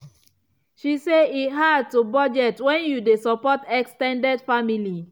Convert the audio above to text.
she say e hard to budget when you dey support ex ten ded family.